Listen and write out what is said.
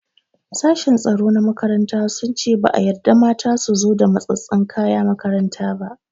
Sashen tsaro na makaranta sun ce ba a yarda mata su zo da matsatsen kaya makaranta ba.